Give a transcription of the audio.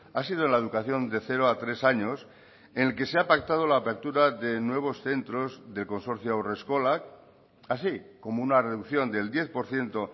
ha sido la educación de cero a tres años en el que se ha pactado la apertura de nuevos centros del consorcio haurreskolak así como una reducción del diez por ciento